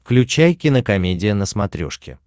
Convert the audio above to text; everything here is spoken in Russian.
включай кинокомедия на смотрешке